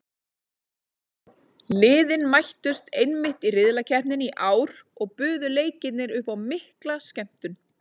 Liðin mættust einmitt í riðlakeppninni í ár og buðu leikirnir upp á mikla skemmtun.